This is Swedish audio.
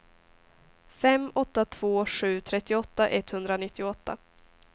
fem åtta två sju trettioåtta etthundranittioåtta